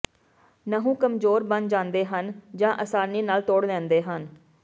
ਨਹੁੰ ਕਮਜ਼ੋਰ ਬਣ ਜਾਂਦੇ ਹਨ ਜਾਂ ਆਸਾਨੀ ਨਾਲ ਤੋੜ ਲੈਂਦੇ ਹਨ